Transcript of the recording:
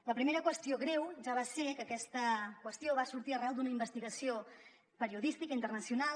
la primera qüestió greu ja va ser que aquesta qüestió va sortir arran d’una investigació periodística internacional